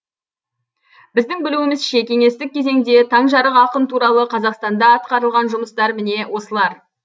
біздің білуімізше кеңестік кезеңде таңжарық ақын туралы қазақстанда атқарылған жұмыстар міне осылар